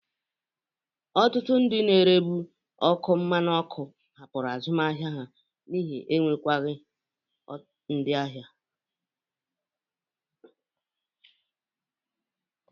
Ọtụtụ ndị na-erebụ ọkụ mmanụ ọkụ hapụrụ azụmahịa ahụ n'ihi enwekwaghi ndị ahịa.